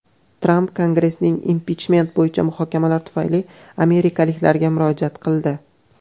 Tramp Kongressdagi impichment bo‘yicha muhokamalar tufayli amerikaliklarga murojaat qildi.